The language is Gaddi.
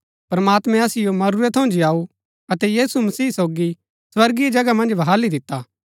प्रमात्मैं असिओ मरूरै थऊँ जीयाऊ अतै यीशु मसीह सोगी स्वर्गीय जगह मन्ज बहाली दिता